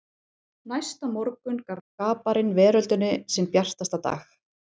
Næsta morgun gaf skaparinn veröldinni sinn bjartasta dag.